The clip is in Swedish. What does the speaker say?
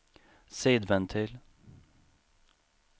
sidventil